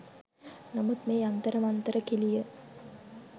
නමුත් මේ යන්තර මන්තර කෙලිය